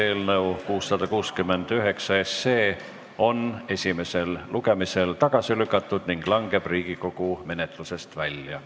Eelnõu 669 on esimesel lugemisel tagasi lükatud ning langeb Riigikogu menetlusest välja.